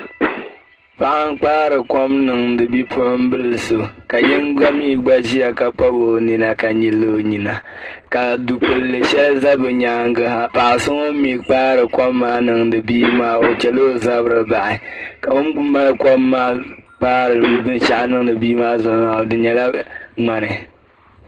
Paɣa kpari kom niŋdi bipuɣibili so ka yinga mi ʒiya ka bɔbi o nina ka yili o nyina ka dugbuli shɛli za bɛ nyaaŋa ha paɣa so ŋuni mi kpari kom maa niŋdi bia maa o chɛla o zabiri bahi o mali kom maa kpaari binshɛɣu di nyɛla ŋmani.